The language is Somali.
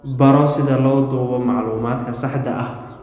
Baro sida loo duubo macluumaadka saxda ah.